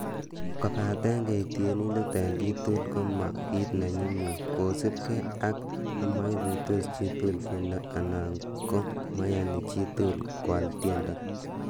Kobaten keik tienindet en kotugul ko mo kit nenyumnyum, kosiibge ak nemoikuitos chitugul tiendo anan ko moiyoni chitugul koal tiendo.